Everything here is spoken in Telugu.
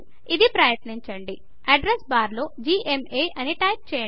ఇది ప్రయత్నించండి అడ్రెస్ బార్లో జిఎంఏ అని టైప్ చేయండి